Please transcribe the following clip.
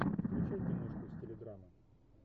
включай киношку в стиле драма